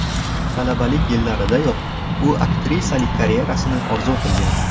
Talabalik yillaridayoq u aktrisalik karyerasini orzu qilgan.